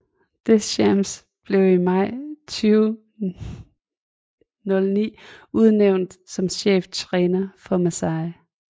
Deschamps blev i maj 2009 udnævnt som cheftræner for Marseille